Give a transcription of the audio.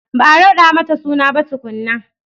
Ba a raɗa mata suna ba tukunna